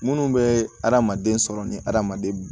Minnu bɛ adamaden sɔrɔ ni adamaden